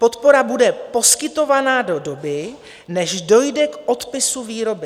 Podpora bude poskytovaná do doby, než dojde k odpisu výroby.